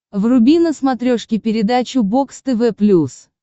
вруби на смотрешке передачу бокс тв плюс